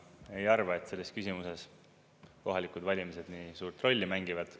Ma ei arva, et selles küsimuses kohalikud valimised nii suurt rolli mängivad.